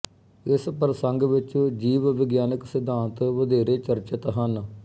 ਇਸ ਪ੍ਰਸੰਗ ਵਿੱਚ ਜੀਵ ਵਿਗਿਆਨਕ ਸਿਧਾਂਤ ਵਧੇਰੇ ਚਰਚਿਤ ਹਨ